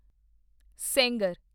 Sengar